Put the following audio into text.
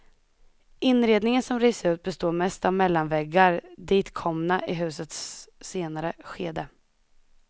Inredningen som rivs ut består mest av mellanväggar, ditkomna i husets senare skede.